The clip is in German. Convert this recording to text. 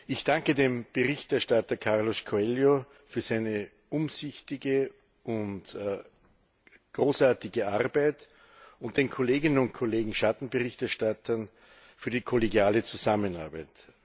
Ich danke dem Berichterstatter Carlos Coelho für seine umsichtige und großartige Arbeit und den Kolleginnen und Kollegen Schattenberichterstattern für die kollegiale Zusammenarbeit.